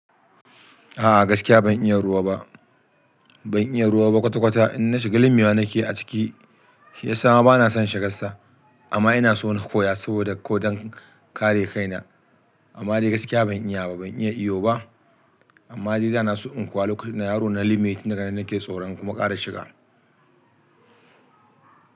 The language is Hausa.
A'a gaskiya ban iya ruwa ba, ban iya ruwa ba kwata kwata in na shiga limi mai nake a ciki, shi ya sa ma bana son shiga sa. Amma ina so na koya saboda ko don kare kaina. Amma dai gaskiya ban iya ba, ban iya iyo ba. Amma dai da na so in kwoya lokacin da ina yaro na limi daga nan nake tsoron kuma kara shiga.